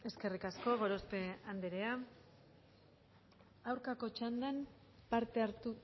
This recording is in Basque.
eskerrik asko gorospe andrea aurkako txandan parte hartu